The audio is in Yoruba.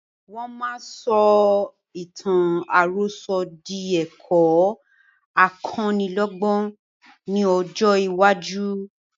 Wọn máa sọ ìtàn àròsọ̀ di ẹ̀kọ́ akọ́nílọ́gbọ́n ni ọjọ́ iwájú